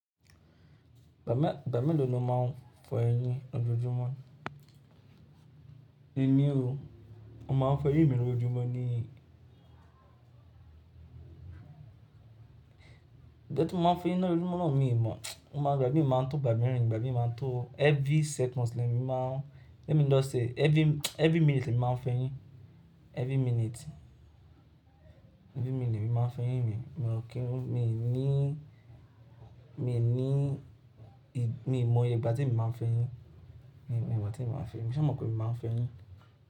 Ìgbà mélòó ni o máa ń fọ eyín lojojumo? Emi o, mo máa ń fọ eyín mi lójoojúmọ́ ní ìgbà tí mo máa ń fọ eyín náà rí, mo máa ń ràn mí mọ̀, mo máa ń gba ìgbà mí máa ń to, gbàgbé mí máa ń to every second lẹ́yìn mi máa ń, lẹ́yìn mi lọ́ ṣe every, every minute ni mi máa ń fọ eyín, every minute. Every minute ni mi máa ń fọ eyín mi, mo kírun, mi ò ní, mi ò ní, mi ò mọ ìgbà tí mi máa ń fọ eyín, mi ò mọ ìgbà tí mi máa ń fọ eyín, ṣùgbọ́n mo kùn mí máa ń fọ eyín.